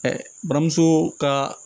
buramuso kaa